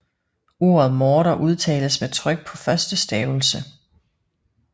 Ordet morter udtales med tryk på første stavelse